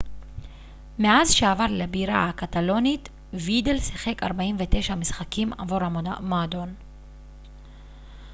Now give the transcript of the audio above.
מאז שעבר לבירה הקטלונית וידל שיחק 49 משחקים עבור המועדון